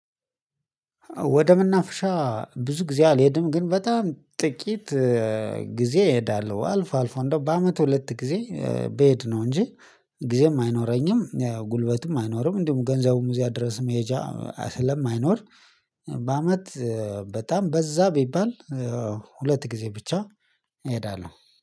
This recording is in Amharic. ወደምናፍሻ ብዙ ጊዜ አልሄድም ግን በጣም ጥቂት ጊዜ እሄዳለሁ። አልፎ አልፎ እንደው በአመት ሁለት ጊዜ በየት ነው እንጂ። ጊዜም አይኖረኝም ጉልበትም አይኖርም። እንዲሁም ገንዘቡም እዚያ ድረስ መሄጃ ስለማይኖር። በአመት በጣም በዛ ቢባል ሁለት ጊዜ ብቻ እሄዳለሁ